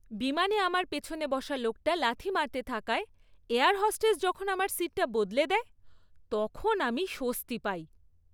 বিমানে আমার পিছনে বসা লোকটা লাথি মারতে থাকায় এয়ার হোস্টেস যখন আমার সিটটা বদলে দেয়, তখন আমি স্বস্তি পাই।